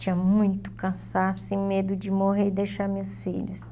Tinha muito cansaço e medo de morrer e deixar meus filhos.